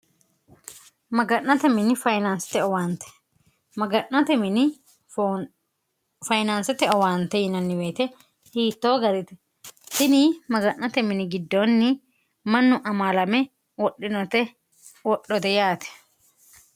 maga'note mini fyinnste owaante maga'note mini fayinaansote owaante yinanniweete hiittoo garite sini maga'note mini giddoonni mannu amaalame wodhinote wodhote yaate